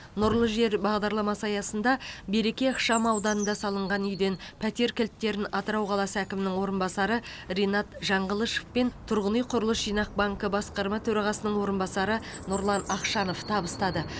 нұрлы жер бағдарламасы аясында береке ықшамауданында салынған үйден пәтер кілттерін атырау қаласы әкімінің орынбасары ринат жаңғылышов пен тұрғын үй құрылыс жинақ банкі басқарма төрағасының орынбасары нұрлан ақшанов табыстады